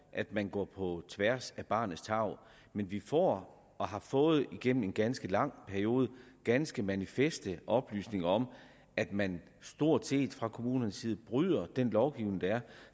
at man går på tværs af barnets tarv men vi får og har fået igennem en ganske lang periode ganske manifeste oplysninger om at man stort set fra kommunernes side bryder den lovgivning der er